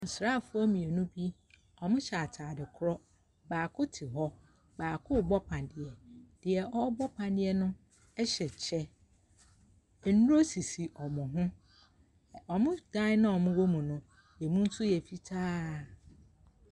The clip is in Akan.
Asraafo mmienu bi, ɔmo hyɛ ataade koro. Baako te hɔ, baako bɔ paneɛ. Neɛ ɔbɔ paneɛ no ɛhyɛ kyɛ, Nnuro sisi ɔmo ho, ɔmo dan na ɔmo wɔ mu no nso, emu yɛ fitaa.